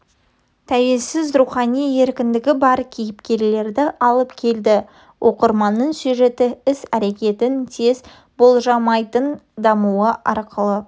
тәуелсіз рухани еркіндігі бар кейіпкерлерді алып келді оқырманның сюжеті іс-әрекеттің тез болжалмайтын дамуы арқылы